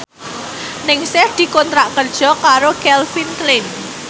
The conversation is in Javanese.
Ningsih dikontrak kerja karo Calvin Klein